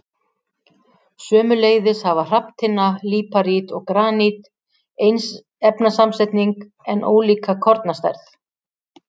Sömuleiðis hafa hrafntinna, líparít og granít eins efnasamsetning en ólíka kornastærð.